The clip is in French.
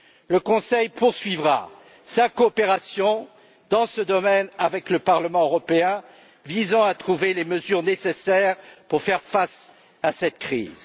Le Conseil poursuivra sa coopération dans ce domaine avec le Parlement européen en vue de trouver les mesures nécessaires pour faire face à cette crise.